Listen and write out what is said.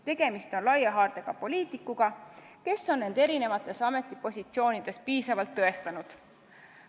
Tegemist on laia haardega poliitikuga, kes on end eri ametites piisavalt tõestanud.